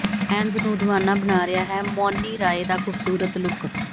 fans ਨੂੰ ਦੀਵਾਨਾ ਬਣਾ ਰਿਹਾ ਹੈ ਮੌਨੀ ਰਾਏ ਦਾ ਖੂਬਸੂਰਤ ਲੁੱਕ